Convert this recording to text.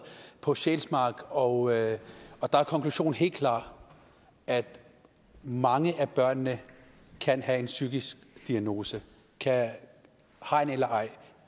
på sjælsmark og at konklusionen helt klar at mange af børnene kan have en psykisk diagnose hegn eller ej